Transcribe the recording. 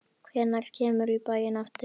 Hvenær kemurðu í bæinn aftur?